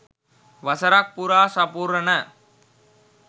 වසරක් පුරා සපුරන